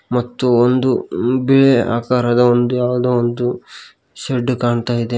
ಮತ್ತು ಒಂದು ಬಿಳಿ ಆಕಾರದ ಒಂದು ಯಾವುದೋ ಒಂದು ಶೆಡ್ ಕಾಣ್ತಾ ಇದೆ.